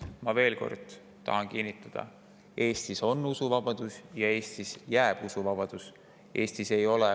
Ma veel kord tahan kinnitada: Eestis on usuvabadus ja Eestis jääb usuvabadus alles.